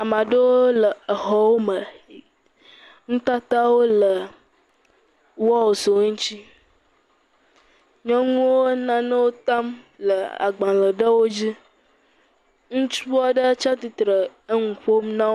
Ame aɖewo le exɔwo me, nutatawo le walls wo ŋuti, nyɔnuwo nanewo tam le agbalẽwo dzi, ŋutsu aɖe tsi atsitre le nu ƒom na wo.